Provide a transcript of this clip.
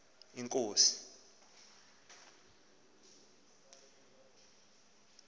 inkosi